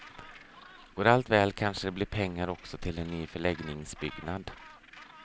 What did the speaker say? Går allt väl kanske det blir pengar också till en ny förläggningsbyggnad.